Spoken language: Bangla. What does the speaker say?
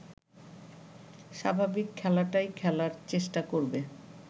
স্বাভাবিক খেলাটাই খেলার চেষ্টা করবে